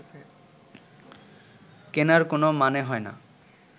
কেনার কোনো মানে হয় না